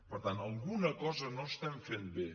per tant alguna cosa no estem fent bé